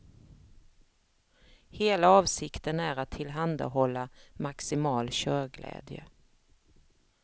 Hela avsikten är att tillhandahålla maximal körglädje.